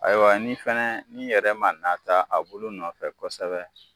Ayiwa ni fɛnɛ ni yɛrɛ ma nata a bulu nɔfɛ kosɛbɛ